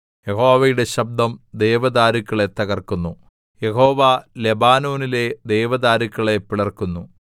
യഹോവയുടെ ശബ്ദം ദേവദാരുക്കളെ തകർക്കുന്നു യഹോവ ലെബാനോനിലെ ദേവദാരുക്കളെ പിളർക്കുന്നു